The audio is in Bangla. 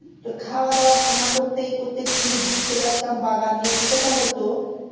খাওয়া দাওয়া করতে না করতে চলে আসতাম বাগান নিয়ে কি করতাম বলতো